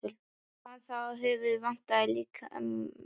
Sá hann þá að höfuðið vantaði á líkið.